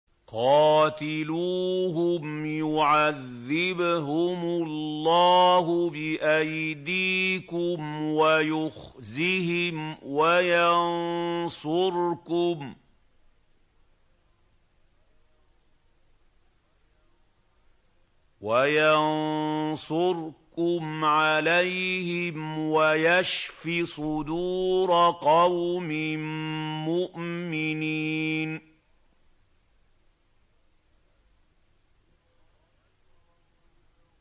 قَاتِلُوهُمْ يُعَذِّبْهُمُ اللَّهُ بِأَيْدِيكُمْ وَيُخْزِهِمْ وَيَنصُرْكُمْ عَلَيْهِمْ وَيَشْفِ صُدُورَ قَوْمٍ مُّؤْمِنِينَ